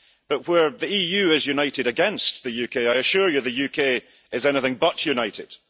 But where the EU is united against the UK, I assure you the UK is anything but united.